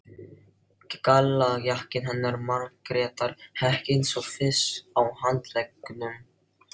Gallajakkinn hennar Margrétar hékk eins og fis á handleggnum.